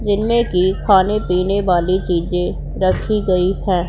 जिनमें की खाने पीने वाले चीजें रखीं गई हैं।